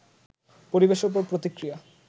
পরিবেশের ওপর এর প্রতিক্রিয়া